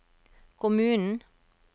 kommunen